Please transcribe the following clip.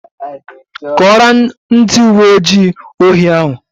Kọọrọ ndị uwe ojii ohi ahụ!